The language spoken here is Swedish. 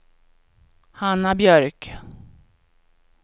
Hanna Björk